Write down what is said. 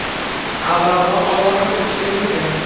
Avvalroq ogohlantirish berilgan.